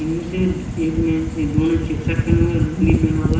इनमें से एक ने दोनों ने चेक शर्ट पहना हुआ है लूंगी पहना हुआ है।